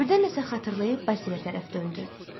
Birdən nə isə xatırlayıb Basilə tərəf döndü.